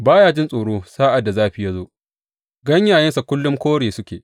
Ba ya jin tsoro sa’ad da zafi ya zo; ganyayensa kullum kore suke.